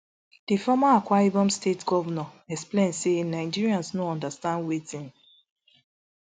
di former akwa ibom state govnor explain say nigerians no understand wetin